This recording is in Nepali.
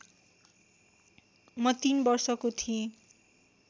म तीन वर्षको थिएँ